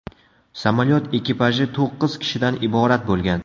Samolyot ekipaji to‘qqiz kishidan iborat bo‘lgan.